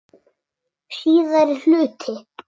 Síðari hluti